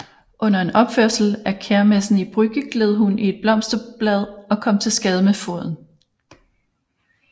Under en opførsel af Kermessen i Brügge gled hun i et blomsterblad og kom til skade med foden